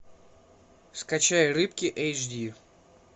скачай рыбки эйч ди